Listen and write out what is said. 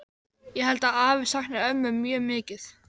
Ég held að afi sakni ömmu mjög mikið.